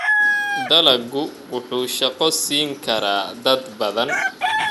Dalaggu wuxuu shaqo siin karaa dad badan.